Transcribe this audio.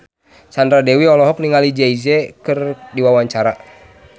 Sandra Dewi olohok ningali Jay Z keur diwawancara